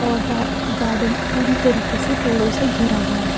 और पा गार्डन पूरी तरीके से पेड़ों से घेरा हुआ है।